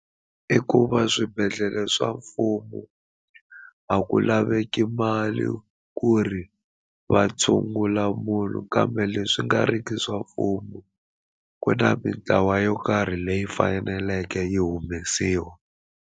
I ku va swibedhlele swa mfumo a ku laveki mali ku ri va tshungula munhu kambe leswi nga riki swa mfumo ku na mintlawa yo karhi leyi faneleke yi humesiwa.